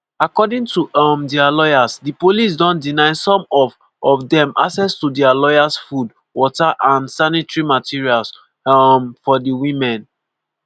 according to um dia lawyers di police don deny some of of dem access to dia lawyers food water and sanitary materials um for di women.